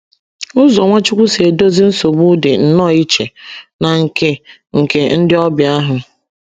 Ụzọ Nwachukwu si edozi nsogbu dị nnọọ iche na nke nke ndị obia ahụ